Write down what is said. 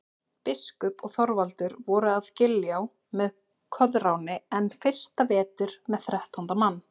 Biskup og Þorvaldur voru að Giljá með Koðráni enn fyrsta vetur með þrettánda mann.